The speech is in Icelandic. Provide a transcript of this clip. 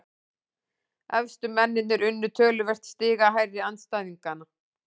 Efstu mennirnir unnu töluvert stigahærri andstæðinga